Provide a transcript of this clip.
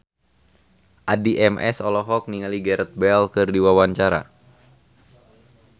Addie MS olohok ningali Gareth Bale keur diwawancara